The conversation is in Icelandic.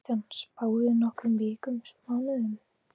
Kristján: Spáirðu nokkrum vikum mánuðum?